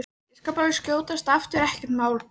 Ég skal bara skjótast aftur, ekkert mál!